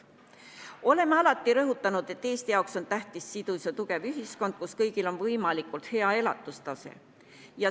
Oleme alati rõhutanud, et Eesti jaoks on tähtis sidus ja tugev ühiskond, kus kõigil on võimalikult hea elatustase.